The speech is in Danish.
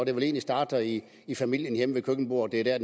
egentlig starter i i familien hjemme ved køkkenbordet det er